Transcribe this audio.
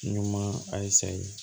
Ɲuman a ye sariya